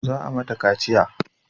Za a mata kaciya